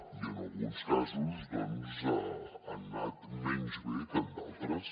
i en alguns casos doncs han anat menys bé que en d’altres